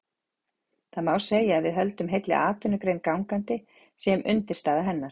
Það má segja að við höldum heilli atvinnugrein gangandi, séum undirstaða hennar.